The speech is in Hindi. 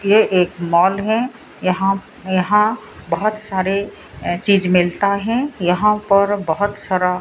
ये एक मॉल है यहां यहां बहोत सारे चीज मिलता है यहां पर बहोत सारा --